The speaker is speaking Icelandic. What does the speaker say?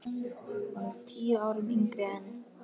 Hún er tíu árum yngri en